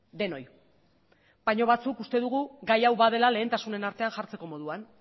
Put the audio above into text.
denoi baino batzuk uste dugu gai hau badela lehentasunen artean jartzeko moduan